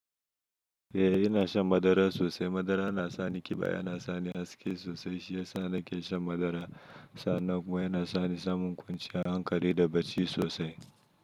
Eh ina shan madara sosai. Madara yana sani kiba, yana sani haske sosai. Shi yasa nake shan madara. Sa nan kuma yana sani samun kwanciyar hankali da bacci sosai.